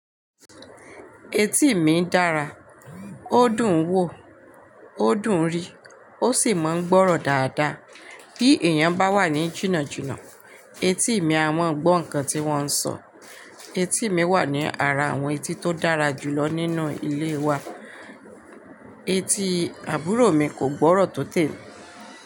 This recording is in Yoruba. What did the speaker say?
Etí mi dára, ó dùn wò, ó dùn rí, ó sì máa ń gbọ́rọ̀ dáadáa. Bí èèyàn bá wà ní jìnnàjìnnà, etí mi a máa gbó nkan tí wọ́n ń sọ. Etí mi wà ní ara àwọn etí tó dára jù lọ nínú ilé wa. Etí àbúrò mi kò gbọ́rọ̀ tó tèmi.